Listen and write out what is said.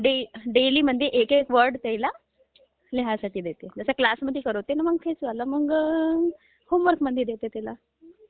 डेलीमध्ये एकेक वर्ड पहिला लिहायला मी देते, आता क्लासमध्ये करवते मगं तेच होमवर्कमध्ये देते त्यांला